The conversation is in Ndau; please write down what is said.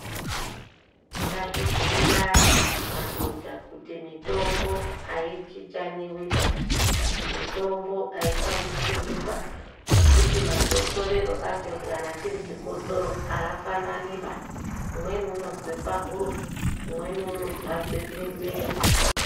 Ngatibhuyirane madhodha kuti mitombo haichichaniba. Mitombo haishandisirwiba nekuti makotsorere acho kana chiri chikotsoro haafananiba. Umweni anozwe pahuro, umweni unozarirwe miro.